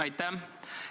Aitäh!